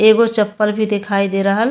एगो चपल भी दिखाई दे रहल --